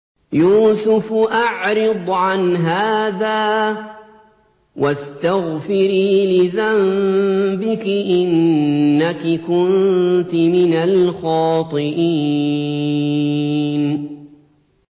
يُوسُفُ أَعْرِضْ عَنْ هَٰذَا ۚ وَاسْتَغْفِرِي لِذَنبِكِ ۖ إِنَّكِ كُنتِ مِنَ الْخَاطِئِينَ